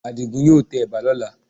Àdìgún yóò tẹ ẹ̀bà lọ́la